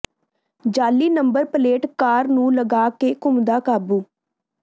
ਜਾਅਲੀ number plate car ਨੂੰ ਲਗਾ ਕੇ ਘੁੰਮਦਾ ਕਾਬੂ